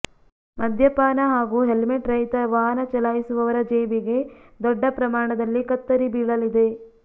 ಮದ್ಯಪಾನ ಹಾಗೂ ಹೆಲ್ಮೆಟ್ ರಹಿತ ವಾಹನ ಚಲಾಯಿಸುವವರ ಜೇಬಿಗೆ ದೊಡ್ಡ ಪ್ರಮಾಣದಲ್ಲಿ ಕತ್ತರಿ ಬೀಳಲಿದೆ